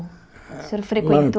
O senhor frequentou?